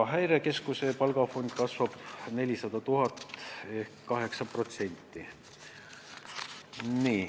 Häirekeskuse palgafond kasvab 400 000 euro võrra ehk 8%.